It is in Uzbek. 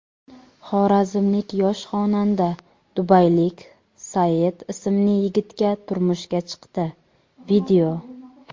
Xorazmlik yosh xonanda dubaylik Saeed ismli yigitga turmushga chiqdi.